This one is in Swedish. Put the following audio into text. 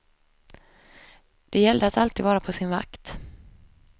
Det gällde att alltid vara på sin vakt.